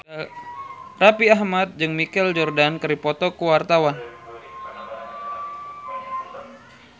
Raffi Ahmad jeung Michael Jordan keur dipoto ku wartawan